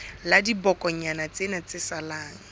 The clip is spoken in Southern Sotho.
la dibokonyana tsena tse salang